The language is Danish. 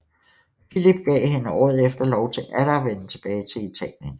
Filip gav hende året efter lov til atter at vende tilbage til Italien